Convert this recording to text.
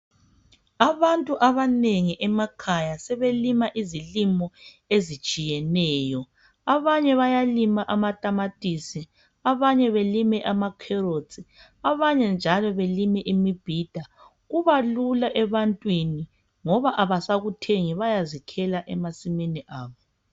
Abantu abanengi emakhaya sebelima izilimo ezitshiyeneyo, abanye bayalima amatamatisi abanye belime amakherotsi, banye njalo belime imibhida kuba lula ebantwini ngoba abasakuthengi bayazikhela emasimini abo.